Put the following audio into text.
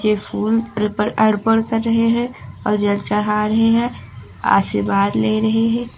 ये फूल पर अर्पण कर रहे हैं और जल चढ़ा रहे हैं आशीर्वाद ले रहे हैं।